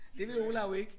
Det ville Olav ikke